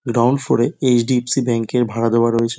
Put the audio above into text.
Down ফ্লোরে এইচ.ডি.এফ.সি. ব্যাঙ্ককে ভাড়া দেওয়া রয়েছে।